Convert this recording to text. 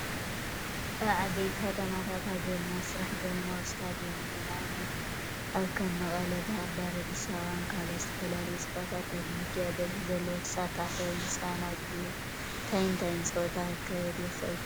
ኣብ ዓበይቲ ከተማታት ሃገርና ዝስራሕ ዘበናዊ ስታድዮም እዩ፡፡ ንኣብነት ኣብ ከም መቐለ፣ ባህዳር፣ ኣዲስ ኣበባን ካልኦትን፡፡ ዝተፈላለዩ ፀዋታት ንምክያድን በዝሒ ዘለዎ ተሳታፋይ ውን ዘስተናግድን እዩ፡፡ እንታይን እንታይን ፀዋታ ክካየደሉ ይኽእል ትብሉ?